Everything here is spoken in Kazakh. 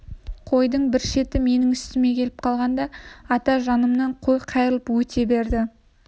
қойдың бір шеті менің үстіме келіп қалған ата жанымнан қой қайырып өте берді